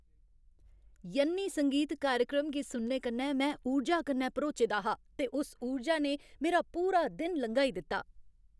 यन्नी संगीत कार्यक्रम गी सुनने कन्नै में ऊर्जा कन्नै भरोचे दा हा ते उस ऊर्जा ने मेरा पूरा दिन लंघाई दित्ता।